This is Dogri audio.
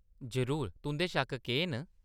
जरूर, तुंʼदे शक्क केह्‌‌ न ?